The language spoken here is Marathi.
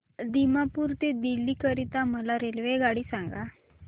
दिमापूर ते दिल्ली करीता मला रेल्वेगाडी सांगा